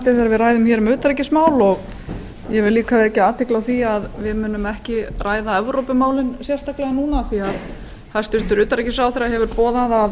spennandi þegar við ræðum utanríkismál og ég vek athygli á því að við munum ekki ræða evrópumálin sérstaklega núna því að hæstvirtur utanríkisráðherra hefur boðað að